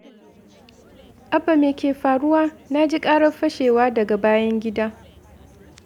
Abba, me ke faruwa? Na ji ƙarar fashewa daga bayan gida!